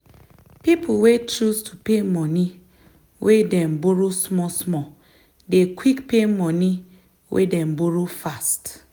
people wey choose to pay moni wey them borrow small small dey quick pay moni wey them borrow fast.